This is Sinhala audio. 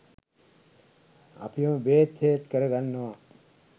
අපිම බේත් හේත් කරගන්නවා.